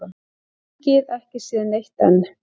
Þingið ekki séð neitt enn